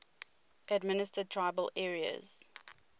administered tribal areas